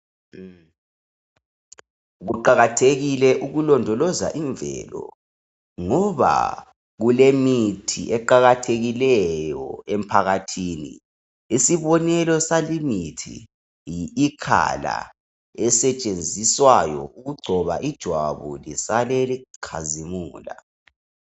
Kuqakathekile ukulondoloza imvelo ngoba kulemithi eqakathekileyo emphakathini isibonele salimithi yi ikhala esetshenziswayo ukugcoba ijwabu lisale likhazimula.